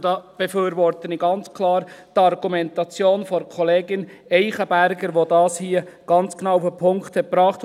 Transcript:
Daher befürworte ich ganz klar die Argumentation der Kollegin Eichenberger, die das hier ganz genau auf den Punkt gebracht hat.